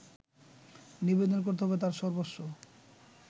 নিবেদন করতে হবে তার সর্বস্ব